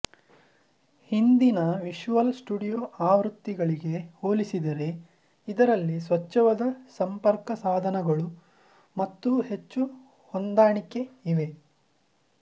ಹಿಂದಿನ Visual Studio ಆವೃತ್ತಿಗಳಿಗೆ ಹೋಲಿಸಿದರೆ ಇದರಲ್ಲಿ ಸ್ವಚ್ಛವಾದ ಸಂಪರ್ಕಸಾಧನಗಳು ಮತ್ತು ಹೆಚ್ಚು ಹೊಂದಾಣಿಕೆಯಿವೆ